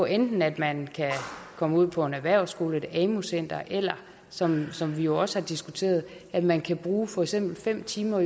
enten at man kan komme ud på en erhvervsskole eller et amu center eller som som vi også har diskuteret at man kan bruge for eksempel fem timer